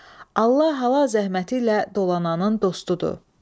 Allah halal zəhməti ilə dolananın dostudur.